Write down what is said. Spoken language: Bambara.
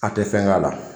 A tɛ fɛn k'a la